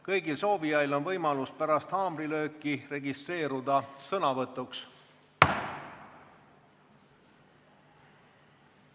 Kõigil soovijail on võimalus pärast haamrilööki registreeruda sõnavõtuks.